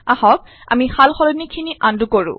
আহক আমি সালসলনিখিনি আন্ডু কৰো